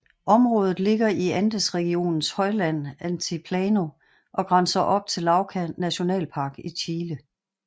Området ligger i Andesregionens højland Altiplano og grænser op til Lauca nationalpark i Chile